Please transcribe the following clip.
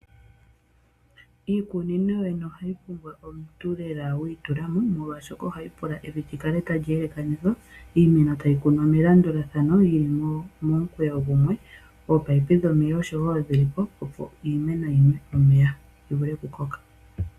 Iikunino ohayi pumbwa omuntu lela wiitulamo . Molwaashoka ohayi pula evi likale tali elekanithwa . Iimeno tayi kunwa melandulathano yili momukweyo gumwe. Ominino dhomeya osho woo dhili po opo iimeno yinwe omeya yi vule oku koka.